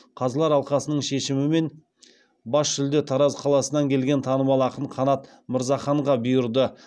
қазылар алқасының шешімімен бас жүлде тараз қаласынан келген танымал ақын қанат мырзаханға бұйырды